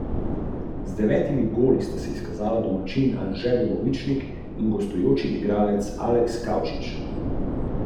Ko dozori, ima v notranjosti užitna semena živo rdeče barve, ki so obdana z mesom.